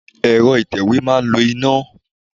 Ẹ̀rọ atẹ̀wé ma ń lo iná.